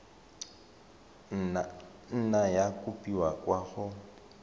nna ya kopiwa kwa go